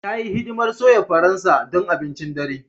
Ta yi hidimar soya Faransa don abincin dare.